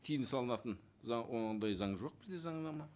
тыйым салынатын заң ондай заң жоқ бізде заңнама